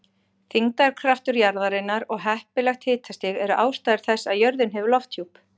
Þyngdarkraftur jarðarinnar og heppilegt hitastig eru ástæður þess að jörðin hefur lofthjúp.